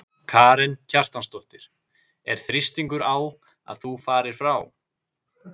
Karen Kjartansdóttir: Er þrýstingur á að þú farir frá?